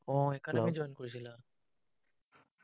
উম academy join কৰিছিলা।